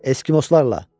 Eskimoslarla!